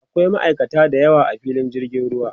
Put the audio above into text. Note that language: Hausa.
akwai ma'aikata da yawa a filin jirgin ruwa